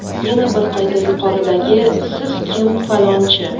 Yana bir qayta yuqoridag‘i: "Sizkim, falonchi."